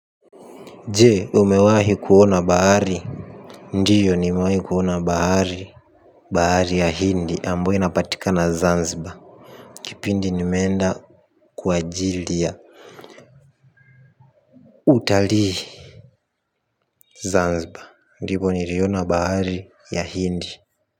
Jee umewahi kuona bahari. Ndiyo nimewahi kuona bahari. Bahari ya hindi ambayo inapatikana Zanzibar. Kipindi nimeenda kwa ajili ya Utalii Zanzibar. Ndiko niliona bahari ya hindi.